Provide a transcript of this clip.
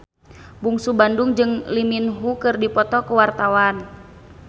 Bungsu Bandung jeung Lee Min Ho keur dipoto ku wartawan